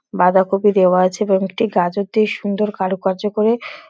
বাঁধাকপি দেওয়া আছে কয়েকটি গাছ হতে সুন্দর কারুকার্য করে --